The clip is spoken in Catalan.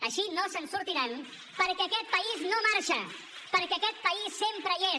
així no se’n sortiran perquè aquest país no marxa perquè aquest país sempre hi és